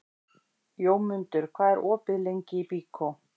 Jómundur, hvað er opið lengi í Byko?